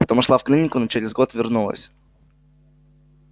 потом ушла в клинику но через год вернулась